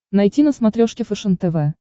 найти на смотрешке фэшен тв